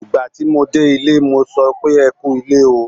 Ìgbà tí mo dé ilé, mo sọ pé "ẹ kú ilé o".